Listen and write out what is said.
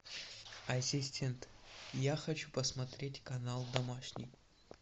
ассистент я хочу посмотреть канал домашний